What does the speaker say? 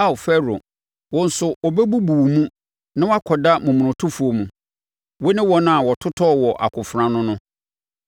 “Ao Farao, wo nso wɔbɛbubu wo mu na woakɔda momonotofoɔ mu, wo ne wɔn a wɔtotɔɔ wɔ akofena ano no.